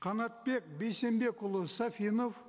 қанатбек бейсенбекұлы сафинов